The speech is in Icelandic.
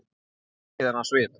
Þoli ekki þennan svip.